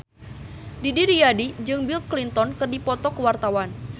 Didi Riyadi jeung Bill Clinton keur dipoto ku wartawan